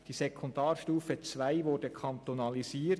Die Sekundarstufe II wurde kantonalisiert.